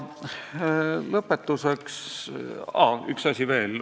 Üks asi veel.